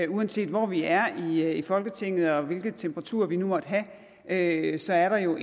uanset hvor vi er i folketinget og hvilke temperaturer vi nu måtte have så er der jo